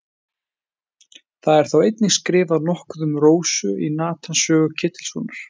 það er þó einnig skrifað nokkuð um rósu í natans sögu ketilssonar